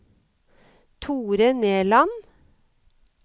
Thore Nerland